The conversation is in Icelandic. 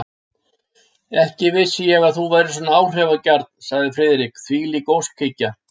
Ekki vissi ég að þú værir svona áhrifagjarn, sagði Friðrik, þvílík óskhyggja!